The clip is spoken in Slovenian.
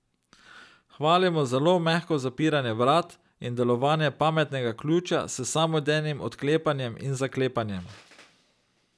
Hvalimo zelo mehko zapiranje vrat in delovanje pametnega ključa s samodejnim odklepanjem in zaklepanjem.